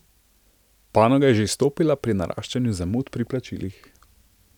Panoga je že izstopala pri naraščanju zamud pri plačilih.